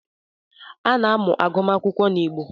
A na-amụ agụmagụ n’Igbo